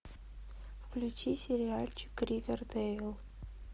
включи сериальчик ривердейл